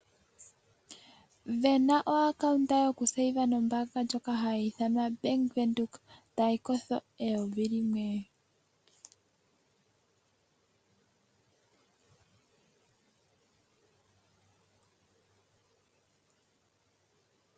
Vena o account yoku pungula nombaanga ndjoka hayi ithanwa bank Windhoek tayi kosho N$1000.